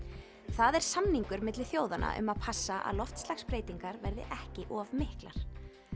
það er samningur milli þjóðanna um að passa að loftslagsbreytingar verði ekki of miklar